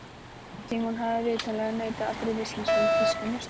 Símon hafði vitanlega neitað allri vitneskju um þýska njósnara.